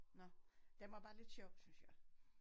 Nåh den var bare lidt sjov synes jeg